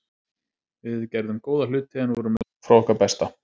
Við gerðum góða hluti en vorum langt frá okkar besta.